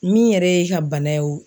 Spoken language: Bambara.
Min yɛrɛ ye e ka bana ye o